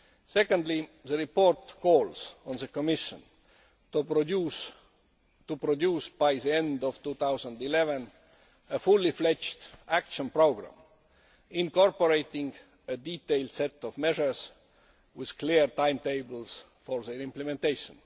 Secondly, the report calls on the Commission to produce, by the end of 2011, a fully fledged action programme incorporating a detailed set of measures with clear timetables for their implementation.